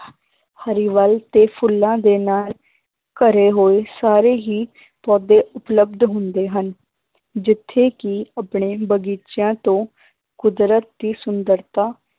ਹਰਿਆਵਲ ਤੇ ਫੁੱਲਾਂ ਦੇ ਨਾਲ ਘਰੇ ਹੋਏ ਸਾਰੇ ਹੀ ਪੌਦੇ ਉਪਲਬਧ ਹੁੰਦੇ ਹਨ ਜਿੱਥੇ ਕਿ ਆਪਣੇ ਬਗ਼ੀਚਿਆਂ ਤੋਂ ਕੁਦਰਤ ਦੀ ਸੁੰਦਰਤਾ